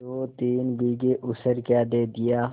दोतीन बीघे ऊसर क्या दे दिया